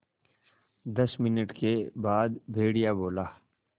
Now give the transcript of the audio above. दस मिनट के बाद भेड़िया बोला